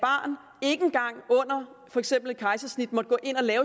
for eksempel